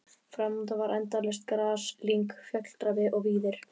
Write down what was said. Framundan var endalaust gras, lyng, fjalldrapi og víðir.